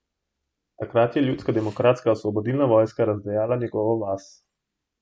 Takrat je Ljudska demokratska osvobodilna vojska razdejala njegovo vas.